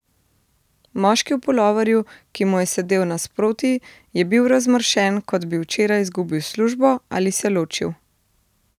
Moški v puloverju, ki mu je sedel nasproti, je bil razmršen, kot bi včeraj izgubil službo, ali se ločil.